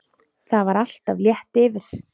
Það var alltaf létt yfir.